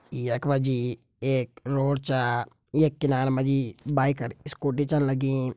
यख मा जी एक रोड छ यख किनारा मा जी बाइक अर स्कूटी छन लगीं।